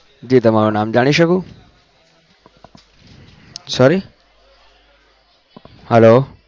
જી તમારું નામ જાણી શકું? sorry hello